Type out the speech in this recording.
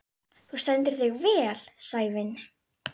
Þorberg, slökktu á niðurteljaranum.